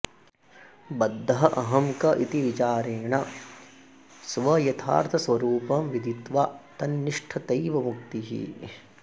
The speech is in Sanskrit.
बद्धः अहं क इति विचारेण स्वयथार्थस्वरूपं विदित्वा तन्निष्ठतैव मुक्तिः